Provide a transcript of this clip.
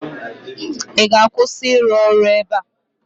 Ị ga-akwụsị ịrụ ọrụ ebe a?